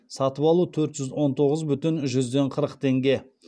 сатып алу төрт жүз он тоғыз бүтін жүзден қырық теңге